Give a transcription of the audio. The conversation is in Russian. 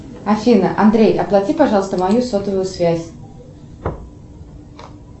афина андрей оплати пожалуйста мою сотовую связь